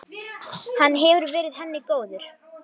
Hann hefur verið henni góður.